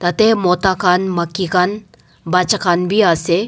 te mota khan makki khan baccha Kha bi ase.